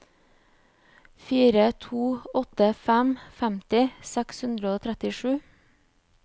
fire to åtte fem femti seks hundre og trettisju